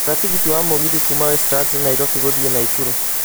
gũra tigiti wa mũgithi kuuma westlands Nairobi gũthiĩ naikuru